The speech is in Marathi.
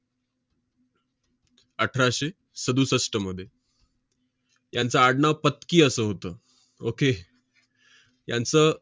अठराशे सदुसष्टमध्ये. यांचं आडनाव फतकी असं होतं. okay यांचं